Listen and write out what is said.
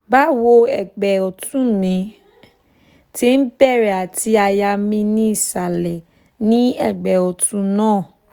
bawo ẹgbẹ́ ọ̀tún mi ti ń bẹ̀rẹ̀ àti àyà mi ni isalẹ ní ẹgbẹ́ ọ̀tún náà